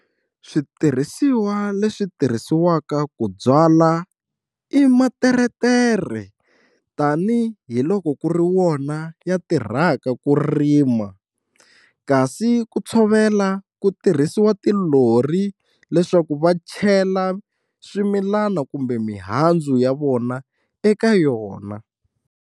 Switirhisiwa leswi tirhisiwaka ku byala i materetere tani hi loko ku ri wona ya tirhaka ku rima kasi ku tshovela ku tirhisiwa tilori leswaku va chela swimilana kumbe mihandzu ya vona eka yona.